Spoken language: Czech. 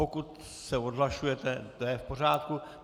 Pokud se odhlašujete, to je v pořádku.